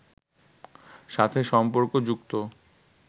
সাথে সম্পর্ক যুক্ত